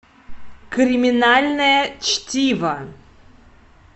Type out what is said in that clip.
криминальное чтиво